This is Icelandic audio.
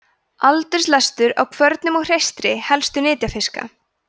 aldurslestur á kvörnum og hreistri helstu nytjafiska